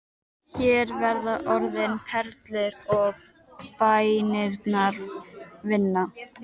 Hér verða orðin perlur og bænirnar vinna.